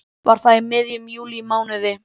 Var það í miðjum júlímánuði.